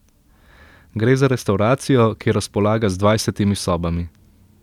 Gre za restavracijo, ki razpolaga z dvajsetimi sobami.